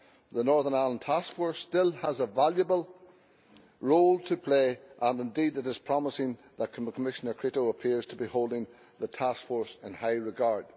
the Northern Ireland Task Force still has a valuable role to play and indeed it is promising that Commissioner Crețu appears to be holding the task force in high regard.